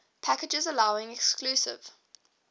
packages allowing exclusive